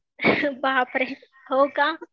बापरे हो का?